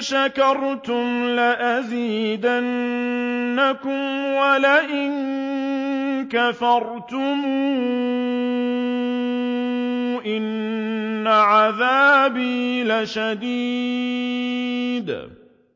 شَكَرْتُمْ لَأَزِيدَنَّكُمْ ۖ وَلَئِن كَفَرْتُمْ إِنَّ عَذَابِي لَشَدِيدٌ